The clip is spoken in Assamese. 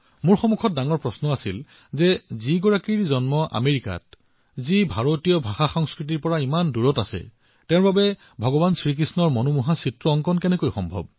মোৰ সন্মুখত ডাঙৰ প্ৰশ্নটো আছিল আমেৰিকাত জন্ম গ্ৰহণ কৰাসকলে যিসকলে ভাৰতীয় অনুভূতিৰ পৰা ইমান দূৰত আছিল অৱশেষত ভগৱান কৃষ্ণৰ এনে এক আকৰ্ষণীয় ছবি কেনেকৈ আঁকিছিল